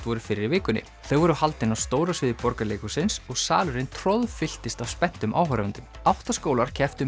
voru fyrr í vikunni þau voru haldin á stóra sviði Borgarleikhússins og salurinn troðfylltist af spenntum áhorfendum átta skólar kepptu um